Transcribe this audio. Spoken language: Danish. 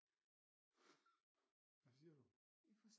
Hvad siger du